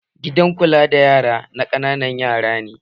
Gidan kula da yara na ƙananan yara ne